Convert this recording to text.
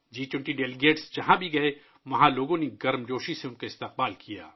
جی 20 کے مندوبین جہاں بھی گئے، وہاں لوگوں نے ان کا گرمجوشی سے ، اُن کا استقبال کیا